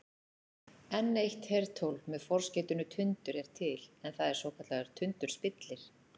enn eitt hertól með forskeytinu tundur er til en það er svokallaður tundurspillir